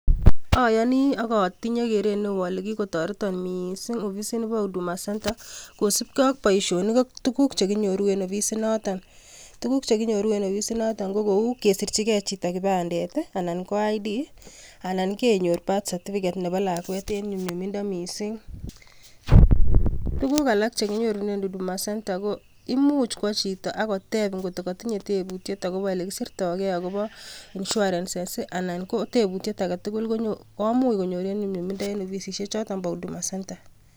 Ayoni akotini keret neo ale kikotoreton miising ofisini po 'huduma centre' kosipke ak boisionik chekinyoru en ofisinoto ko kou kesirchike chito kipandet anan ko Identification card anan kenyor birthcertificate nepo lakwet en nyumnyumindo mising tukuk alak chekinyorunen 'huduma centre'ko imuch kwo chito akotep ngot ko kotinye tebut akopo olekisirtoke akopo 'insurances' anan ko tebutiet aketugul komuch konyor en nyumnyumindo en ofisisiechoton po 'huduma centre'